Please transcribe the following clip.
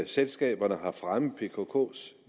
selskaberne har fremmet pkks